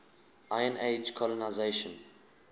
iron age colonisation